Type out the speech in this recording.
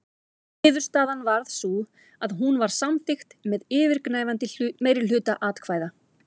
Niðurstaðan varð sú að hún var samþykkt með yfirgnæfandi meirihluta atkvæða.